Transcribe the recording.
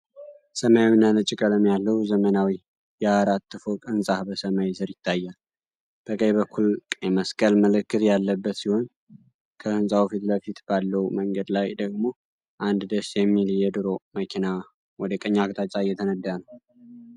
ሰማያዊና ነጭ ቀለም ያለው ዘመናዊ የአራት ፎቅ ህንጻ በሰማይ ስር ይታያል። በቀኝ በኩል ቀይ መስቀል ምልክት ያለበት ሲሆን፣ ከህንጻው ፊት ለፊት ባለው መንገድ ላይ ደግሞ አንድ ደስ የሚል የድሮ መኪና ወደ ቀኝ አቅጣጫ እየተነዳ ነው።